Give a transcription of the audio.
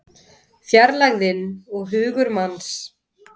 Fjarlægðin og hugur manns